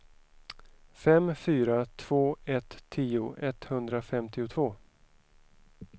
fem fyra två ett tio etthundrafemtiotvå